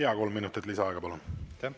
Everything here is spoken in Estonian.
Jaa, kolm minutit lisaaega, palun!